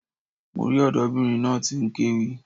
Mo rí ọ̀dọ́bìnrin náà tí n kéwì